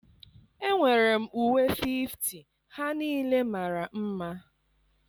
Enwere m uwe 50, ha niile mara mma